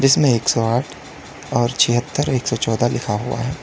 इसमें एक सौ आठ और छिहत्तर एक सौ चौदह लिखा हुआ है।